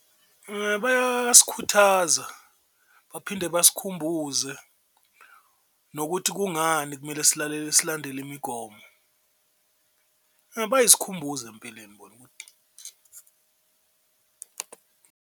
Bayasikhuthaza, baphinde basikhumbuze nokuthi kungani kumele silalele silandele imigomo, bayis'khumbuzo empeleni bona.